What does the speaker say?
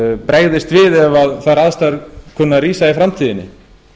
bregðist við ef þær aðstæður kunna að rísa í framtíðinni